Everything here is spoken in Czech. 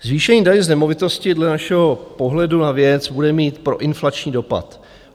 Zvýšení daně z nemovitosti dle našeho pohledu na věc bude mít proinflační dopad.